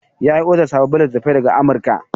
Ya yi odar sababbin littattafai daga Amurka.